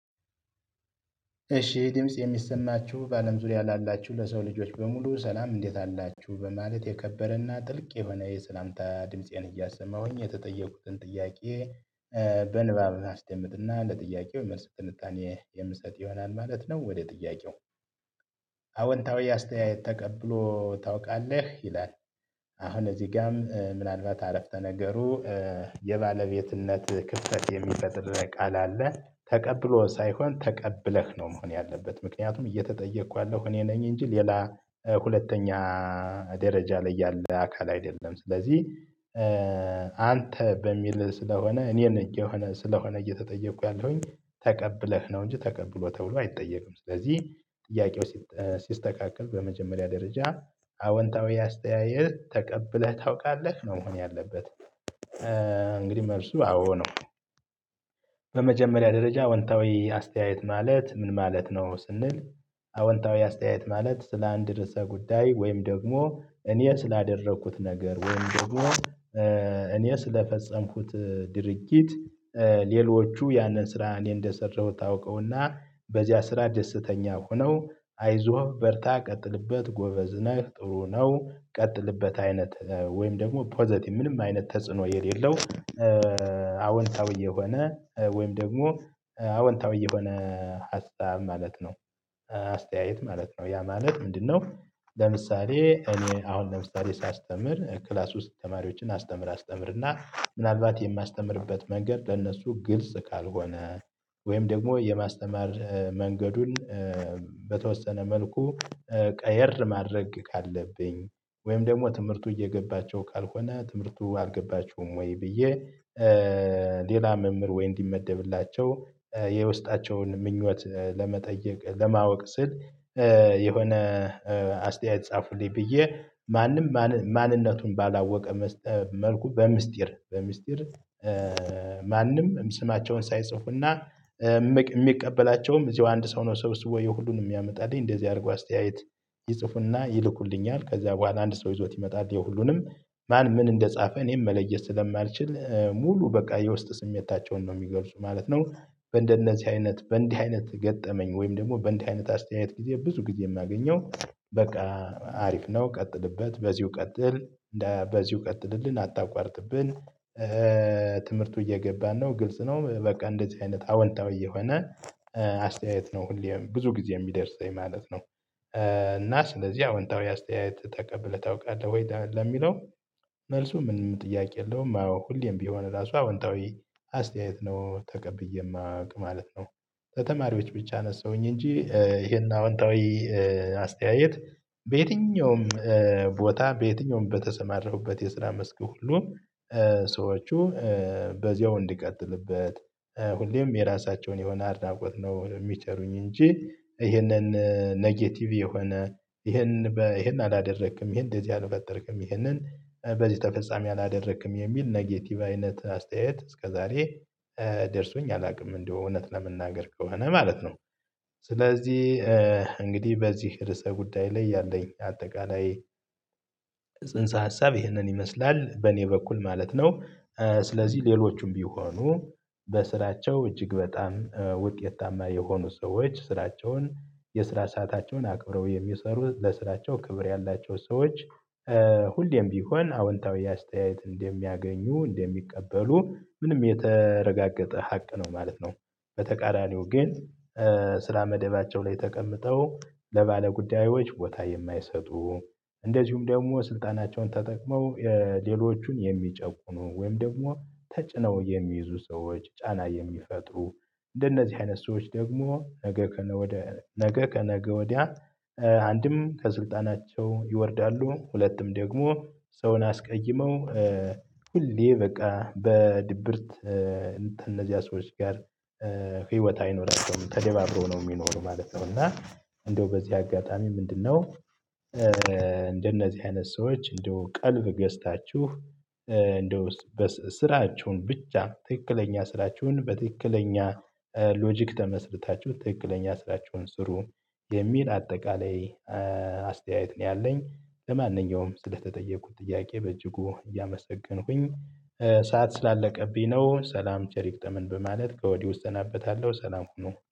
እሺ ድምጽ የሚሰማችሁ በአለም ዙሪያ ላላችሁ ለሰው ልጆች በሙሉ ሰላም እንዴት አላችሁ በማለት የከበረና ጥልቅ የሆነ የሰላምታ ድምፄን እያሰማሁኝ የተጠየኩትን ጥያቄ። በንባብ አስደምጥ እና ለጥያቄው የመልስ ትንታኔ የምትሰጥ ይሆናል ማለት ነው። ወደ ጥያቄው? አወንታዊ አስተያየት ተቀብሎ ታውቃለህ ይላል? አሁን እዚህ ጋርም ምናልባት አረፍተ ነገሩ የባለቤትነት ክፍተት የሚፈጥር ቃል አለ። ተቀብሎ ሳይሆን ተቀብለህ ነው መሆን ያለበት ምክንያቱም እየተጠየቅኩ ያለሁ እኔ ነኝ እንጂ ሌላ ሁለተኛ ደረጃ ላይ ያለ አካል አይደለም። ስለዚህ አንተ በሚል ስለሆነ እኔን እየሆነ ስለሆነ እየተጠየቁ ያለሁኝ ተቀብለህ ነው እንጂ ተቀብሎ ተብሎ አይጠየቅም። ስለዚህ ጥያቄው ሲስተካከል በመጀመሪያ ደረጃ አዎንታዊ አስተያየት ተቀብለህ ታውቃለህ ነው መሆን ያለበት። እንግዲህ መልሱ አዎ ነው። በመጀመሪያ ደረጃ አዎንታዊ አስተያየት ማለት ምን ማለት ነው? ስንል አወንታዊ አስተያየት ማለት ስለ አንድ ርዕሰ ጉዳይ ወይም ደግሞ እኔ ስላደረኩት ነገር ወይም ደግሞ እኔ ስለፈጸምኩት ድርጊት። ሌሎቹ ያንን ስራ እንዴት እንደሰራሁት አውቀውና በዚያ ስራ ደስተኛ ሆነው አይዞህ በርታ ቀጥልበት ጎበዝ ነህ ጥሩ ነው ቀጥልበት አይነት ወይም ደግሞ ፖዘቲቭ ምንም አይነት ተጽዕኖ የሌለው። አዎንታዊ የሆነ ወይም ደግሞ አዎንታዊ የሆነ ሀሳብ ማለት ነው። አስተያየት ማለት ነው ያ ማለት ምንድነው? ለምሳሌ እኔ አሁን ለምሳሌ ሳስተምር ክላስ ውስጥ ተማሪዎችን አስተምር አስተምር እና ምናልባት የማስተምርበት መንገድ ለእነሱ ግልጽ ካልሆነ። ወይም ደግሞ የማስተማር መንገዱን በተወሰነ መልኩ ቀየር ማድረግ ካለብኝ ወይም ደግሞ ትምህርቱ እየገባቸው ካልሆነ ትምህርቱ አልገባችሁም ወይ ብዬ? ሌላ መምህር ወይ እንዲመደብላቸው የውስጣቸውን ምኞት ለመጠየቅ ለማወቅ ስል የሆነ አስተያየት ጻፉልኝ ብዬ ማንም ማንነቱን ባላወቀ መልኩ በሚስጢር በሚስጢር። ማንም ስማቸውን ሳይጽፉና የሚቀበላቸውም እዚሁ አንድ ሰው ነው። ሰብስቦ ሁሉንም የሚያመጣልኝ እንደዚህ አድርጎ አስተያየት ይጽፉና ይልኩልኛል ከዛ በኋላ አንድ ሰው ይዞት ይመጣል። የሁሉንም ማን ምን እንደጻፈ እኔም መለየት ስለማልችል ሙሉ በቃ የውስጥ ስሜታቸውን ነው የሚገልጹት ማለት ነው። በእንደነዚህ አይነት በእንዲህ አይነት ገጠመኝ ወይም ደግሞ በእንዲህ አይነት አስተያየት ጊዜ ብዙ ጊዜ የማገኘው በቃ አሪፍ ነው ቀጥልበት በዚሁ ቀጥል በዚሁ ቀጥልልን አታቋርጥብን። ትምህርቱ እየገባን ነው ግልጽ ነው በቃ እንደዚህ አይነት አዎንታዊ የሆነ አስተያየት ነው ሁሌ ብዙ ጊዜ የሚደርሰኝ ማለት ነው። እና ስለዚህ አዎንታዊ አስተያየት ተቀብለህ ታውቃለህ ወይ ለሚለው? መልሱ ምንም ጥያቄ የለውም አዎ ሁሌም ቢሆን ራሱ አዎንታዊ አስተያየት ነው ተቀብዬ የማውቀው ማለት ነው። ከተማሪዎች ብቻ አነሳሁኝ እንጂ ይሄን አዎንታዊ አስተያየት በየትኛውም ቦታ በየትኛውም በተሰማራሁበት የስራ መስክ ሁሉ ሰዎች በዚያው እንድቀጥልበት ሁሌም የራሳቸውን የሆነ አድናቆት ነው የሚቸሩኝ እንጂ ይሄንን ኔጌቲቭ የሆነ ይሄን ይሄን አላደረክም ይሄን እንደዚህ አልፈጠርክም ይሄንን በዚህ ተፈጻሚ አላደረክም የሚል ኔጌቲቭ አይነት አስተያየት እስከዛሬ ደርሶኝ አላውቅም እንደው እውነት ለመናገር ከሆነ ማለት ነው። ስለዚህ እንግዲህ በዚህ ርዕሰ ጉዳይ ላይ ያለኝ አጠቃላይ ጽንሰ ሀሳብ ይህንን ይመስላል በእኔ በኩል ማለት ነው። ስለዚህ ሌሎችም ቢሆኑ በስራቸው እጅግ በጣም ውጤታማ የሆኑ ሰዎች ስራቸውን የስራ፣ ሰአታቸውን አክብረው የሚሰሩት፣ ለስራቸው ክብር ያላቸው ሰዎች ሁሌም ቢሆን አዎንታዊ አስተያየት እንደሚያገኙ እንደሚቀበሉ ምንም የተረጋገጠ ሀቅ ነው ማለት ነው። በተቃራኒው ግን ስራ መደባቸው ላይ ተቀምጠው ለባለጉዳዮች ቦታ የማይሰጡ እንደዚሁም ደግሞ ስልጣናቸውን ተጠቅመው ሌሎቹን የሚጨቁኑ ወይም ደግሞ ተጭነው የሚይዙ ሰዎች ጫና የሚፈጥሩ እንደነዚህ አይነት ሰዎች ደግሞ ነገ ከነ ወደ ነገ ከነገ ወዲያ አንድም ከስልጣናቸው ይወርዳሉ ሁለትም ደግሞ ሰውን አስቀይመው። ሁሌ በቃ በድብርት እንትን ከነዚያ ሰዎች ጋር አይኖርም ተደባብሮ ነው የሚኖሩት ማለት ነው። እና እንደው በዚህ አጋጣሚ ምንድነው? እንደነዚህ አይነት ሰዎች እንደው ቀልብ ገዝታችሁ እንደው ስራችሁን ብቻ ትክክለኛ ስራችሁን በትክክለኛ ሎጂክ ተመስርታችሁ ትክክለኛ ስራችሁን ስሩ። የሚል አጠቃላይ አስተያየት ነው ያለኝ ለማንኛውም ስለተጠየኩት ጥያቄ በእጅጉ እያመሰገንኩኝ ሰዓት ስላለቀብኝ ነው ሰላም ቸር ይግጠመን በማለት ከወዲው እሰናበታለሁ። ሰላም ሁኑ